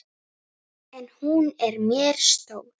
En hún er mér stór.